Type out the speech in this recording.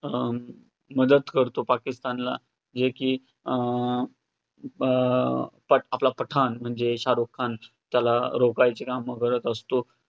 अं मदत करतो पाकिस्तानला हे की अं अं प~ आपला पठाण म्हणजे शाहरुख खान त्याला कामं करतं असतो.